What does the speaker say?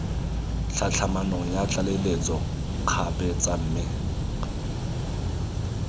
tlhatlhamanong ya tlaleletso kgabetsa mme